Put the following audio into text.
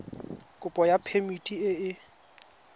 kopo ya phemiti e e